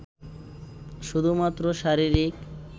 শুধুমাত্র শারীরিক